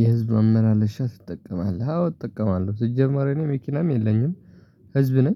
የህዝብ መመለሻ ትጠቀማለህ አዎ እጠቀማለሁ ሲጀመር እኔ መኪናም የለኝም። ህዝብ ነኝ